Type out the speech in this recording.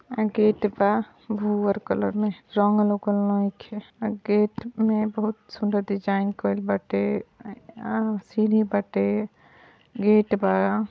Gate बा भूहर colour में रंगल वोंगल नईखे। गेट में बहुत सुंदर डिजाइन कइल बाटे आ सीढ़ी बाटे गेट बा।